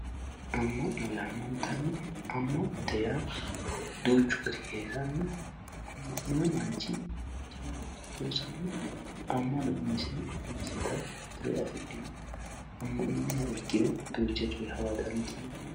ama'no yaamantanno amanote yaa duuchu gaari heeranno amanewo maanchi jaawa looso loosano amanna ummisse ummisetta tirro afidhino amaninihha ikiro duucha coyye haawa dandinanni